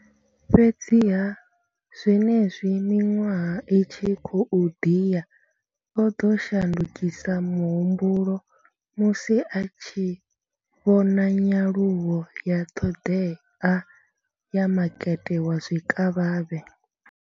Fhedziha, zwenezwi miṅwaha i tshi khou ḓi ya, o ḓo shandukisa muhumbulo musi a tshi vhona nyaluwo ya ṱhoḓea ya makete wa zwikavhavhe.